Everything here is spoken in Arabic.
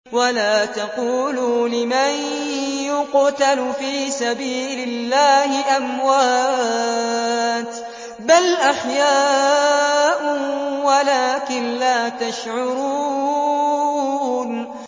وَلَا تَقُولُوا لِمَن يُقْتَلُ فِي سَبِيلِ اللَّهِ أَمْوَاتٌ ۚ بَلْ أَحْيَاءٌ وَلَٰكِن لَّا تَشْعُرُونَ